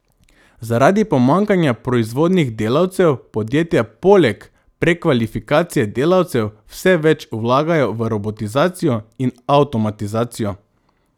Zaradi pomanjkanja proizvodnih delavcev podjetja poleg prekvalifikacije delavcev vse več vlagajo v robotizacijo in avtomatizacijo.